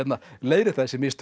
leiðrétta þessi mistök